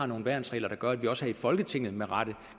nogle værnsregler der gør at der også her i folketinget med rette